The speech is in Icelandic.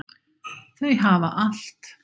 Þau hafa allt.